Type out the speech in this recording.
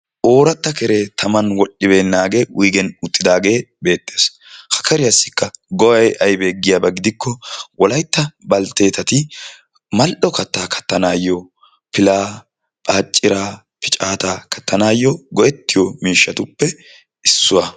Ooratta keree taman wodhdhibeennaagee wuyigen uttidaagee beettees. Ha keriyassikka go'ay aybee giyaba keena gidikko wolaytta baltteetati mal"o kattaa kattanaayyo: pilaa, baacciraa, picaataa kattanaayyo go'ettiyo miishshatuppe issuwa.